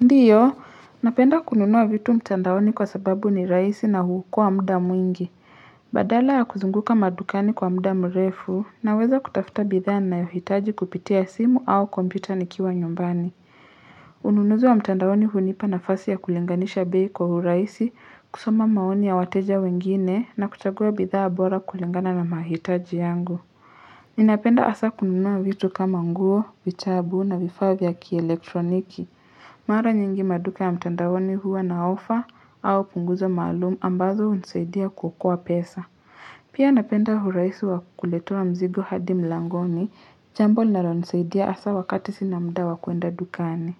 Ndiyo napenda kununua vitu mtandaoni kwa sababu ni rahisi na huokoa muda mwingi badala ya kuzunguka madukani kwa muda mrefu naweza kutafuta bidhaa niyohitaji kupitia simu au kompyuta nikiwa nyumbani. Ununuzi wa mtandaoni hunipa nafasi ya kulinganisha bei kwa hurahisi kusoma maoni ya wateja wengine na kuchagua bidhaa bora kulingana na mahitaji yangu ninapenda hasa kununua vitu kama nguo vitabu na vifaa vya kielektroniki mara nyingi maduka ya mtandaoni huwa na ofa au punguza maalumu ambazo hunisaidia kuokoa pesa pia napenda huraisi wa kuletewa mzigo hadi mlangoni chambo linalonisaidia hasa wakati sina muda wa kuenda dukani